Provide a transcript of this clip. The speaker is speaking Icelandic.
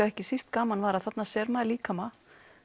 ekki síst gaman var að þarna sér maður líkama